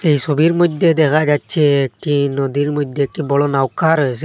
এই সোবির মইদ্যে দেখা যাচ্ছে একটি নদীর মইধ্যে বড় নাউকা রয়েসে।